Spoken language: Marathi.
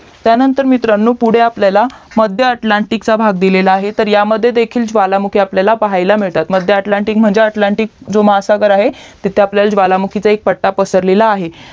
त्यानंतर मित्रांनो पुढे आपल्याला मध्य अटलांटिक चा भाग दिलेला आहे तर यामध्ये देखील ज्वालामुखी आपल्याला पाहायाला भेटतात मग ते अटलांटिक म्हणजे अटलांटिक महासागर आहे तिथे एक ज्वालामुखीचा पट्टा पसरलेला आहे